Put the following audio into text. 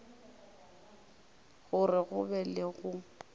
gore go be le go